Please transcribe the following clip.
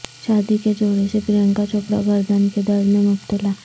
شادی کے جوڑے سے پرینکا چوپڑا گردن کے درد میں مبتلا